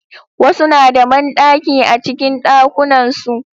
Wasu na da banɗaki a cikin ɗakunan su